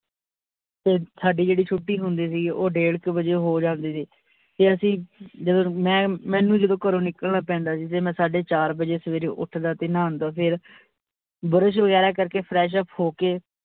ਤੇ ਸਾਡੀ ਜਿਹੜੀ ਛੁਟੀ ਹੁੰਦੀ ਸੀ ਉਹ ਡੇਢ ਕ ਬਜੇ ਹੋ ਜਾਂਦੀ ਸੀ ਤੇ ਅਸੀਂ ਜਦੋਂ ਮੈਂ ਮੈਂਨੂੰ ਜਦੋਂ ਘਰੋਂ ਨਿਕਲਣਾ ਪੈਂਦਾ ਸੀ ਤੇ ਮੈਂ ਸਾਡੇ ਚਾਰ ਬਜੇ ਸਵੇਰੇ ਉੱਠਦਾ ਤੇ ਨਾਦਾਂ ਫਿਰ ਬੁਰਸ਼ ਬਗੈਰਾ ਕਰਕੇ fresh up ਹੋਕੇ